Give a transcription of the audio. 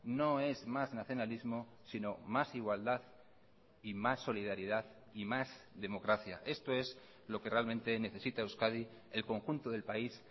no es más nacionalismo sino más igualdad y más solidaridad y más democracia esto es lo que realmente necesita euskadi el conjunto del país